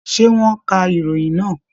Ṣé, wọ́n ka ìròyìn náà?